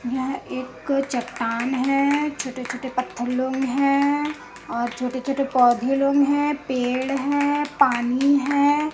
यह एक चट्टान है छोटे-छोटे पत्थर लोग है और छोटे-छोटे पौधे लोग है पेड़ है पानी है।